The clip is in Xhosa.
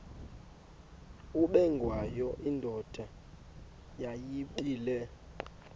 ubengwayo indoda yayibile